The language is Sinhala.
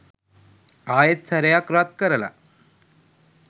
ආයෙත් සැරයක් රත් කරල